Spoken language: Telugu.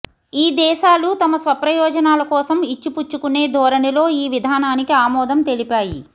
ఈ దేశాలు తమ స్వప్రయోజనాలకోసం ఇచ్చిపుచ్చుకునే ధోరణిలో ఈ విధానానికి ఆమోదం తెలిపాయి